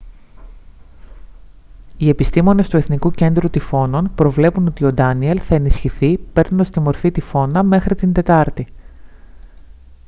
οι επιστήμονες του εθνικού κέντρου τυφώνων προβλέπουν ότι ο ντάνιελ θα ενισχυθεί παίρνοντας τη μορφή τυφώνα μέχρι την τετάρτη